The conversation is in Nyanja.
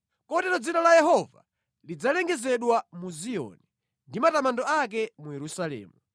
Kotero dzina la Yehova lidzalengezedwa mu Ziyoni ndi matamando ake mu Yerusalemu,